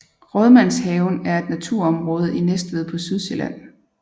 Rådmandshaven er et naturområde i Næstved på Sydsjælland